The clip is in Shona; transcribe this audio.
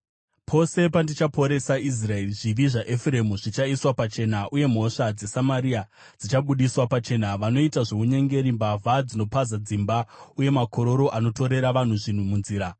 Pose pandinoda kuporesa Israeri, zvivi zvaEfuremu zvinoiswa pachena uye mhosva dzeSamaria dzinobudiswa pachena. Vanoita zvounyengeri, mbavha dzinopaza dzimba, uye makororo anotorera vanhu zvinhu munzira;